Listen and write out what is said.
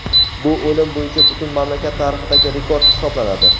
Bu o‘lim bo‘yicha butun mamlakat tarixidagi rekord hisoblanadi.